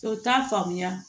O t'a faamuya